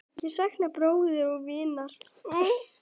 Ég sakna bróður og vinar.